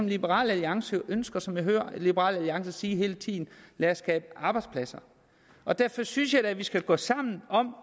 liberal alliance ønsker og som jeg hører liberal alliance sige hele tiden lad os skabe arbejdspladser derfor synes jeg da vi skal gå sammen om